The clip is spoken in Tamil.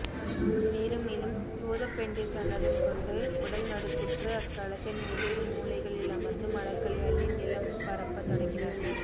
மேலும் மேலும் சூதப்பெண்டிர் சன்னதம் கொண்டு உடல் நடுக்குற்று அக்களத்தின் வெவ்வேறு மூலைகளில் அமர்ந்து மலர்களை அள்ளி நிலம்பரப்பத் தொடங்கினர்